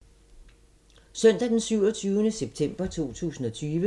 Søndag d. 27. september 2020